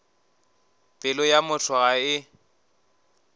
pelo ya motho ga e